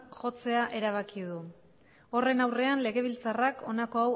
jotzea erabaki du horren aurrean legebiltzarrak honako